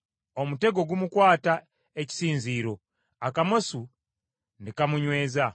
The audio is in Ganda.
Omutego gumukwata ekisinziiro; akamasu ne kamunyweeza.